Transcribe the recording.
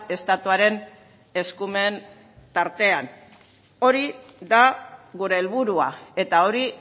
estatuaren eskumen tartean hori da gure helburua eta hori